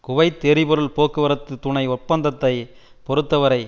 Kuwait எரிபொருள் போக்குவரத்து துணை ஒப்பந்தத்தை பொறுத்த வரை